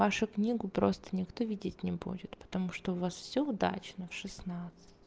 вашу книгу просто никто видеть не будет потому что у вас все удачно в шестнадцать